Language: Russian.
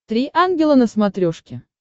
три ангела на смотрешке